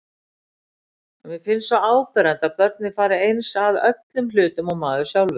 Mér finnst svo áberandi að börnin fara eins að öllum hlutum og maður sjálfur.